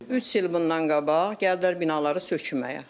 Üç il bundan qabaq gəldilər binaları sökməyə.